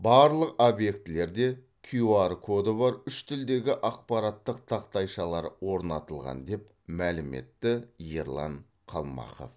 барлық объектілерде кью ар коды бар үш тілдегі ақпараттық тақтайшалар орнатылған деп мәлім етті ерлан қалмақов